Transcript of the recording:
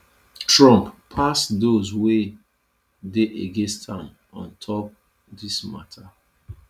trump pass those wey dey against am on top dis mata